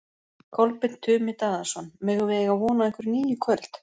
Kolbeinn Tumi Daðason: Megum við eiga von á einhverju nýju í kvöld?